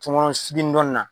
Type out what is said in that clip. Tɔŋɔnɔn skin dɔn na